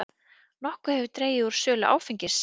Nokkuð hefur dregið úr sölu áfengis